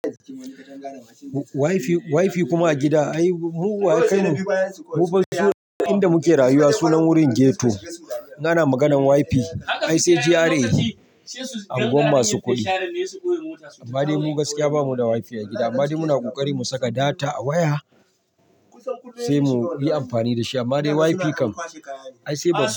Wi-Fi, Wi-Fi kuma a gida? Ai, muguwan kai ne. Mufa inda muke rayuwa sunan wurin ghetto. In ana maganar Wi-Fi. Ai, sai GRA agwammasu kuɗi. Amma dai mu gaskiya babu da Wi-Fi a gida. Amma dai muna ƙoƙari mu saka data a waya sai mu yi amfani da shi. Amma dai Wi-Fi kan ai sai ba su.